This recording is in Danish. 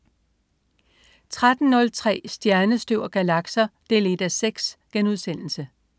13.03 Stjernestøv og galakser 1:6*